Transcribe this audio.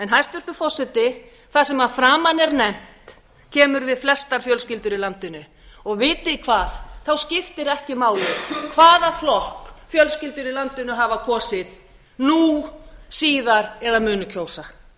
hæstvirtur forseti það sem að framan er nefnt kemur við flestar fjölskyldur í landinu og vitið þið hvað þá skiptir ekki máli hvaða flokk fjölskyldur í landinu hafa kosið nú síðar eða munu kjósa